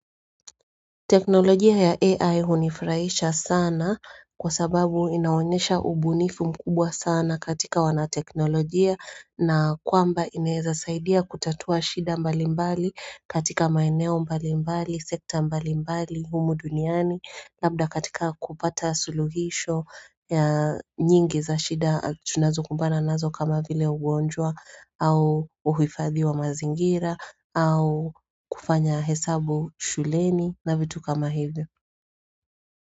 Teknolojia ya AI hunifurahisha sana. Kwa sababu inaonyesha ubunifu mkubwa sana katika wanateknolojia. Na kwamba inaeza saidia kutatua shida mbali mbali katika maineo mbali mbali, sekta mbali mbali humu duniani, labda katika kupata suluhisho. Ya nyingi za shida tunazokumbana nazo kama vile ugonjwa au uhifadhiwa mazingira. Au kufanya hesabu shuleni na vitu kama hivyo.